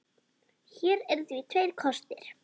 Hér eru því tveir kostir